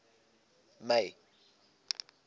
may